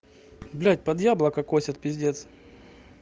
блять под яблоко косят пиздец